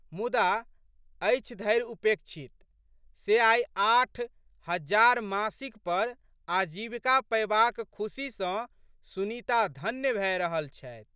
मुदा, अछि धरि उपेक्षित। से आइ आठ हजार मासिक पर आजीविका पएबाक खुशीसँ सुनीता धन्य भए रहल छथि।